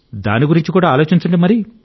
దాని గురించి ఆలోచించండి